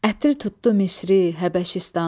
Ətir tutdu Misri, Həbəşistanı.